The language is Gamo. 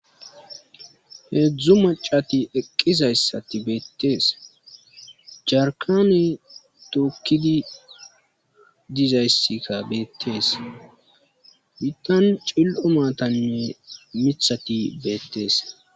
heedzdzu macati eqqizayssati beettees jarkane duqqidi dizayssika beettees bittan cil'o maatanne mithati beettees